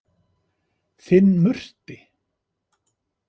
Þinn Murti.